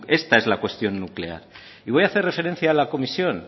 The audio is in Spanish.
esta es la cuestión nuclear y voy a hacer referencia a la comisión